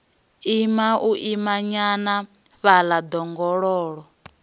ima u imanyana fhaḽa ḓongololo